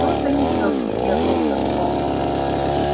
кто-то ещё приехал с отцом